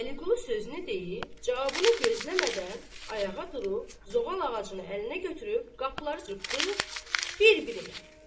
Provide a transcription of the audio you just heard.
Vəliqulu sözünü deyib, cavabını gözləmədən ayağa durub, zoğal ağacını əlinə götürüb, qapıları çırpdı bir-birinə.